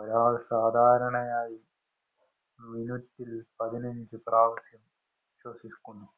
ഒരാള്‍ സാധാരണയായി മിനിറ്റില്‍ പതിനഞ്ചു പ്രാവശ്യം ശ്വസിക്കുന്നു.